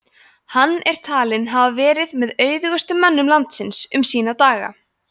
hann er talinn hafa verið með auðugustu mönnum landsins um sína daga